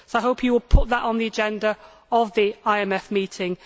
So I hope you will put that on the agenda of the IMF meeting.